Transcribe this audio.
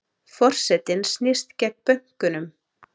Forsetinn snýst gegn bönkunum